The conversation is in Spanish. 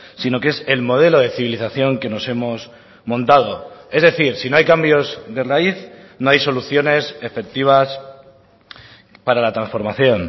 sino que es el modelo de civilización que nos hemos montado es decir si no hay cambios de raíz no hay soluciones efectivas para la transformación